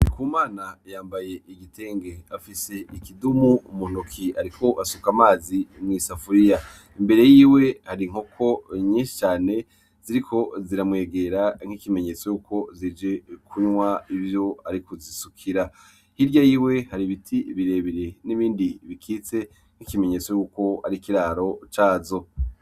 Ndikumana yambaye igitenge afise ikidumu mu ntoki ariko asuka amazi mw'isafuriya imbere yiwe hari inkoko nyinshi cane ziriko ziramwegera nk'ikimenyetso yuko zije kunywa ivyo ari kuzisukira hirya yiwe hari ibiti birebire n'ibindi bikitse nk'ikimenyetso yuko ari ikiraro cazo